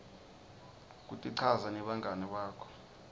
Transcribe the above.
kutichaza nebangani bakho